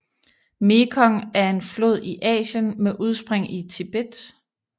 Mekong er en flod i Asien med udspring i Tibet